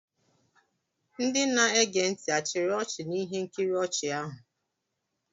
Ndị na-ege ntị achiri ọchị na ihe nkiri ochi ahụ?